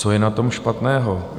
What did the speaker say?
Co je na tom špatného?